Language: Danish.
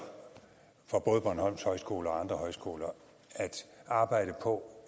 for både bornholms højskole og andre højskoler at arbejde på